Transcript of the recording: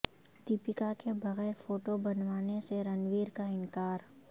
دیپیکا کے بغیر فوٹو بنوانے سے رنویر کا انکار